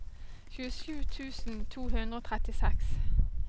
tjuesju tusen to hundre og trettiseks